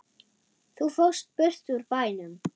Þú fórst burt úr bænum.